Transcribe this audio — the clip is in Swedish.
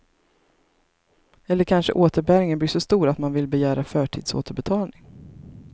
Eller kanske återbäringen blir så stor att man vill begära förtidsåterbetalning.